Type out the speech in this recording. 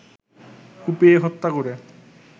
কুপিয়ে হত্যা করে